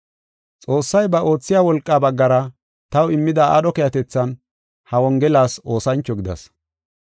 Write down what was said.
Xoossay ba oothiya wolqaa baggara taw immida aadho keehatethan ha Wongelas oosancho gidas.